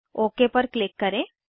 okay पर click करें